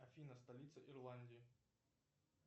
афина столица ирландии